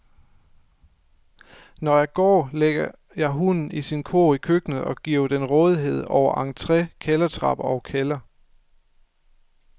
Når jeg går, lægger jeg hunden i sin kurv i køkkenet og giver den rådighed over entré, kældertrappe og kælder.